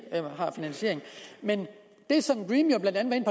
har finansiering men det som dream jo blandt andet